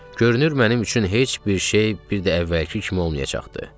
Görünür mənim üçün heç bir şey bir də əvvəlki kimi olmayacaqdı.